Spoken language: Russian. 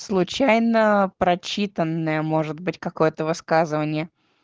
случайно прочитанное может быть какое-то высказывание